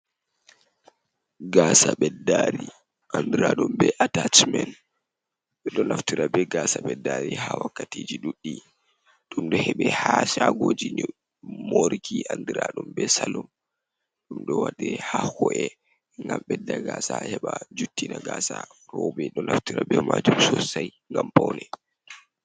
Gasa beddari andiradum be atachmen. Do naftira be gasa beddari ha wakkatiji duddi dum do hebi ha shagoji moriki andiradum be salum, ɗum ɗo wadir ha hore gam ɓedda gasa heba juttina gasa. Roɓe ɗo naftira be majum sosai gam poune.